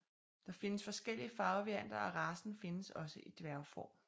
Der findes forskellige farvevarianter og racen findes også i dværgform